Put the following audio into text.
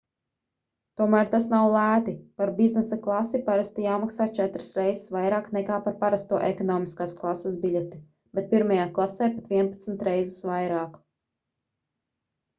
tomēr tas nav lēti par biznesa klasi parasti jāmaksā četras reizes vairāk nekā par parasto ekonomiskās klases biļeti bet pirmajā klasē pat vienpadsmit reizes vairāk